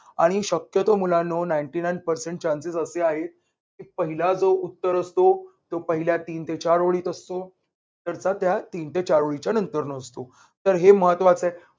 आणि शक्यतो मुलांनो ninety nine percent chance स असे आहेत. पहिला जो उत्तर असतो. तो पहिल्या तीन ते चार ओळीत असतो. नंतरचा त्यात तीन ते चार ओळीच्या नंतर असतो. तर हे महत्वाच आहे.